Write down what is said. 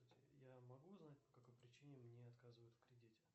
я могу узнать по какой причине мне отказывают в кредите